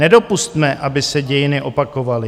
Nedopusťme, aby se dějiny opakovaly.